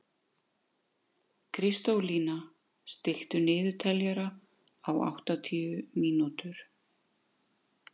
Kristólína, stilltu niðurteljara á áttatíu mínútur.